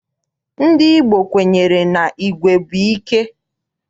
Ndị Igbo kwenyere na igwe bụ ike.